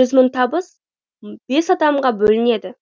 жүз мың табыс бес адамға бөлінеді